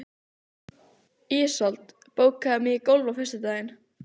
Ísold, bókaðu hring í golf á föstudaginn.